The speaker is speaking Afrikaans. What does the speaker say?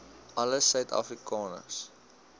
alle suid afrikaners